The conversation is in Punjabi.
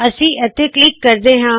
ਮੈ ਇੱਥੇ ਕਲਿੱਕ ਕਰਦੀ ਹਾ